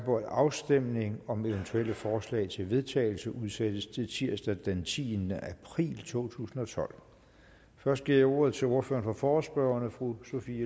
på at afstemning om eventuelle forslag til vedtagelse udsættes til tirsdag den tiende april to tusind og tolv først giver jeg ordet til ordføreren for forespørgerne fru sophie